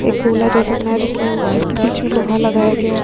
एक कूलर जैसा बनाया है जिसमे उ बीच में लोहा लगाया गया है।